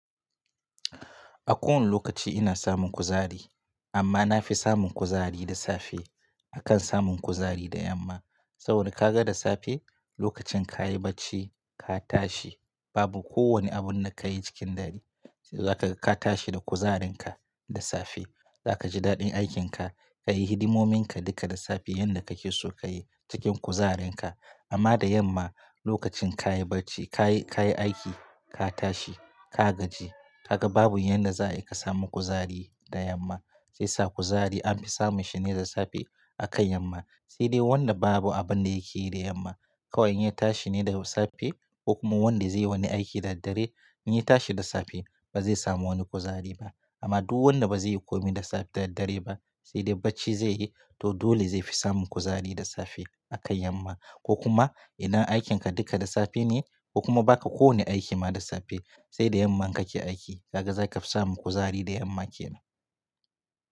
A kowane lokaci ina samun kuzari, amma nafi samun kuzari da safe akan samun kuzari da yamma. Sabida kaga da safe lokacin kayi bacci ka tashi babu kowanne abun da kayi cikin dare, sai zaka ga ka tashi da kuzarinka da safe. Zaka ji daɗin aikinka, kayi hidimominka duka da safe yanda kake so kayi cikin kuzarinka. Amma da yamma lokacin kayi bacci, kayi, ka yi aiki ka tashi ka gaji. Kaga babu yanda za ayi ka samu kuzari da yamma. Shi yasa kuzari anfi samun shi ne da safe akan yamma. Sai dai wanda babu abun da yake yi da yamma, kawai in ya tashi ne da safe ko kuma wanda zai yi wani aiki da daddare, in ya tashi da safe ba zai samu wani kuzari ba. Amma duk wanda ba zai yi komai da safe, da daddare ba sai dai bacci zai yi to dole zai fi samun kuzari da safe akan yamma. Ko kuma idan aikinka duka da safe ne ko kuma baka kowanne aiki ma da safe sai da yamman kake aiki kaga zaka fi samun kuzari da yamma kenan.